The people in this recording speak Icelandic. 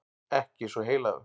Ekki svo heilagur.